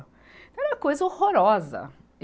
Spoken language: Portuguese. Era uma coisa horrorosa.